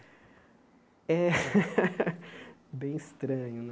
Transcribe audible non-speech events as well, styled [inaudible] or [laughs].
Eh [laughs] bem estranho, né?